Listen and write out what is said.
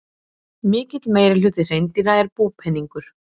Mikill meirihluti hreindýra er búpeningur.